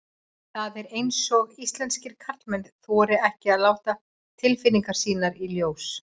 Það er eins og íslenskir karlmenn þori ekki að láta tilfinningar sínar í ljós.